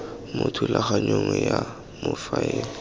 mo thulaganyong ya go faela